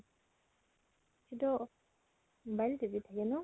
ভিন দʼ mobile টিপি থাকে ন ?